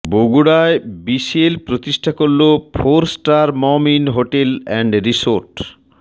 বগুড়ায় বিসিএল প্রতিষ্ঠা করলো four star Mom Inn hotel and resort